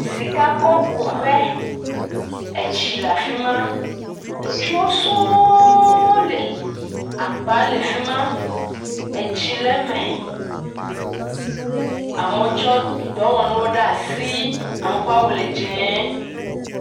Sikakɔkuƒe, etsi le afi ma. Ŋutsuwo sɔ̃ɔ li. Agba le fi ma. Etsi le eme. Amewo tsɔ dɔwɔnuwo ɖe asi. Amewo ƒe awu le dzɛ̃.